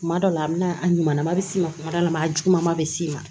Kuma dɔ la a bɛna a ɲuman bɛ s'i ma kuma dɔ la a juguman bɛ s'i ma